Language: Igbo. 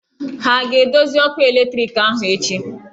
Ha a ga-edozi ọkụ eletriki ahụ echi?